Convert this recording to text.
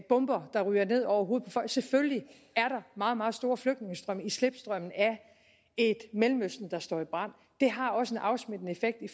bomber der ryger ned over hovedet på folk selvfølgelig er der meget meget store flygtningestrømme i slipstrømmen af et mellemøsten der står i brand det har også en afsmittende effekt i